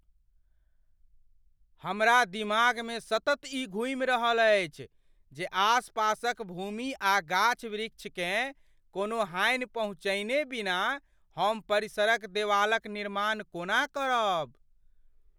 हमरा दिमागमे सतत ई घूमि रहल अछि जे आसपासक भूमि आ गाछ वृछकेँ कोनो हानि पहुँचयने बिना हम परिसरक देवालक निर्माण कोना करब?